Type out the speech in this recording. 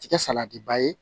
Tɛ kɛ salatiba ye